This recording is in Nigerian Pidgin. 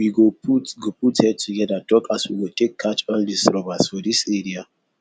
we go put go put head together talk as we go take catch all dis robbers for dis area